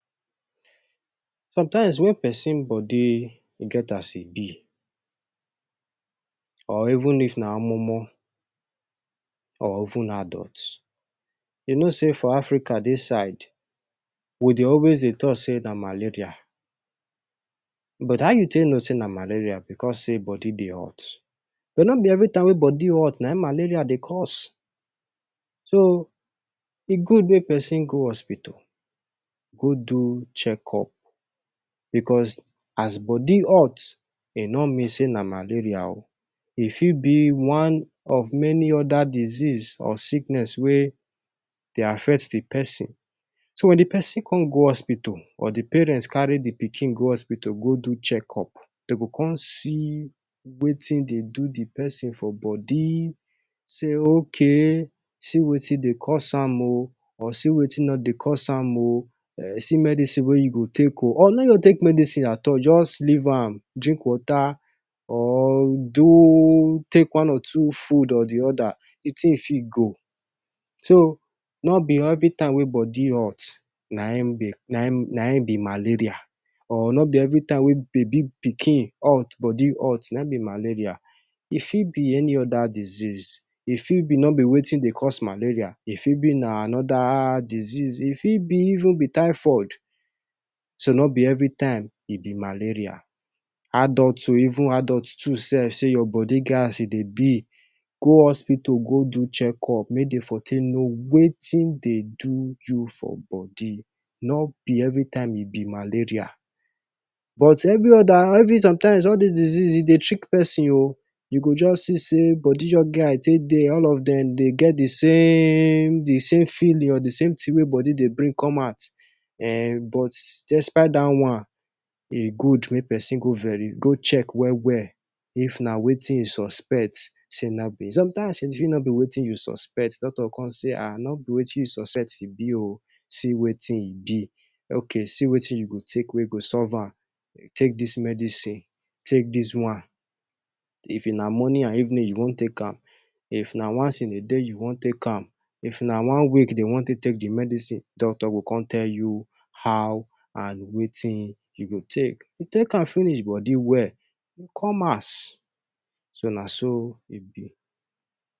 Somtime wen pesin body e get as e be or even omomo or even adult you know say for Africa dis side we dey always dey talk say na malaria. But how you take know say na malaria? Bicos say body dey hot? But no be every time wey bodi hot na im malaria dey cause. So e good make pesin go hospital go do check up. Bicos as body hot e no mean say na malaria o. E fit be one of many oda disease or sickness wey dey affect di pesin. So di pesin come go hospital or di parents carry di pikin go hospital go do check up. Dem go come see wetin dey do di pesin for body, say okay see wetin dey cause am o, or see wetin no dey cause am o. See medicine wey you go take o, or no just take medicine at all, just leave am, drink water or do take one or two food or di oda, di tin fit go. So no be every time wey body hot na im be malaria or no be every time wey baby pikin hot, body hot na im be malaria. E fit be any oda diseases. E fit be say no be wetin dey cause malaria. E fit be na anoda disease. E fit be even be typhoid. So no be every time e be malaria. Adults o, even adult too sef, say your body get as e dey be, go hospital go do check up make dem for take know wetin dey do you for body. No be every time e be malaria. But every oda, somtime all dis diseases dey dey trick pesin o. You go just see say body just get as e take dey. All of dem dey get di same di same failure, di same tin wey body dey bring come out ehn. But despite dat one e good make pesin go veri go check well well. If na wetin you suspect somtime, e fit be nobi wetin you suspect. Doctor go come say ah, nobi wetin you suspect e be o. See wetin e be. Okay see wetin you go take wey go solve am. Take dis medicine, take dis one. If na morning and evening you wan take am, if na once in a day you wan take am, if na one week you wan take, take di medicine. Doctor go come tell you how and wetin you go take. If you take am finish, body well, you go come house. So na so e bi.